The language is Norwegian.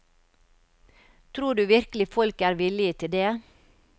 Tror du virkelig folk er villige til det?